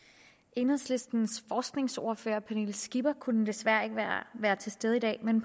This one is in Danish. enhedslistens forskningsordfører fru pernille skipper kunne desværre ikke være til stede i dag men